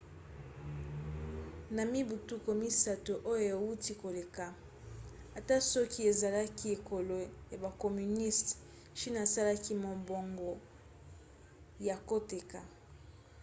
na mibu tuku misato oyo euti koleka ata soki ezalaki ekolo ya bacommuniste chine asalaki mombongo ya koteka